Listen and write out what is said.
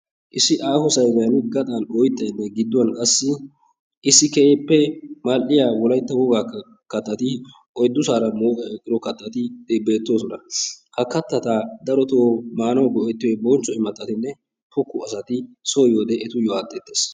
Issi aaho sayiniyan gaxan oyittay dees, gidduwan qassi issi keehippe mal"iya wolaytta wogaa kattati oyiddusaara mooqee eqqido kattati beettoosona. Ha kattata daroto maanawu go"ettiyoy bonchcho imattatinne pokko asati so yiyode etuyyo aatteetes.